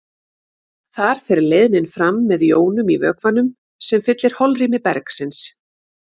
Þar fer leiðnin fram með jónum í vökvanum sem fyllir holrými bergsins.